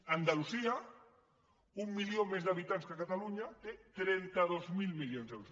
andalusia un milió més d’ha·bitants que catalunya té trenta dos mil milions d’euros